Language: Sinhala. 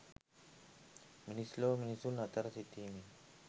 මිනිස් ලොව මිනිසුන් අතර සිටිමින්